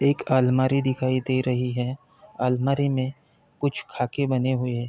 एक अलमारी दिखाई दे रही है। अलमारी में कुछ खाके बने हुए --